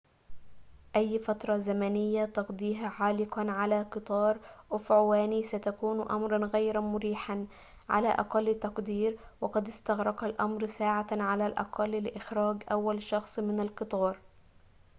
أي فترة زمنية تقضيها عالقًا على قطار أفعواني ستكون أمراً غير مريحاً على أقل تقدير وقد استغرق الأمر ساعة على الأقل لإخراج أول شخص من القطار